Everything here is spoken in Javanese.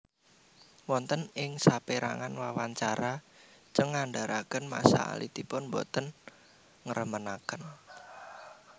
Wonten ing sapréangan wawancara Cheung ngnadharaken masa alitipun boten ngremenaken